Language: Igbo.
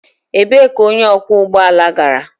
Ebee ka onye ọkwọ ụgbọ ala gara?